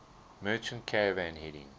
merchant caravan heading